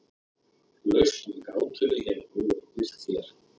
lausn við gátunni hefur nú verið birt hér